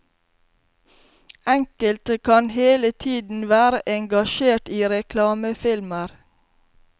Enkelte kan hele tiden være engasjert i reklamefilmer.